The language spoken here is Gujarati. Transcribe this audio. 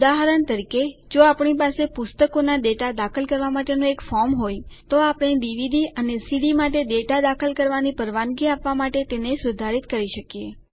ઉદાહરણ તરીકે જો આપણી પાસે પુસ્તકોના ડેટા દાખલ કરવાં માટેનું એક ફોર્મ હોય તો આપણે ડીવીડી અને સીડી માટે ડેટા દાખલ કરવાની પરવાનગી આપવા માટે તેને સુધારિત કરી શકીએ